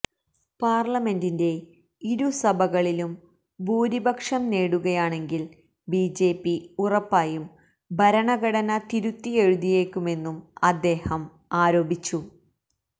പാര്ലമെന്റിന്റെ ഇരു സഭകളിലും ഭൂരിപക്ഷം നേടുകയാണെങ്കില് ബിജെപി ഉറപ്പായും ഭരണഘടന തിരുത്തിയെഴുതിയേക്കുമെന്നും അദ്ദേഹം ആരോപിച്ചു